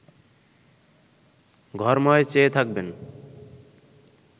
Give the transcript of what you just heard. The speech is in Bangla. ঘরময় চেয়ে থাকবেন